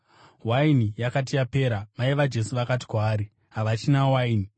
Waini yakati yapera, mai vaJesu vakati kwaari, “Havachina waini.”